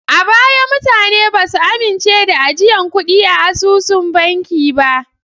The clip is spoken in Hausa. A baya mutane ba su amince da ajiyan kuɗi a asusun banki ba.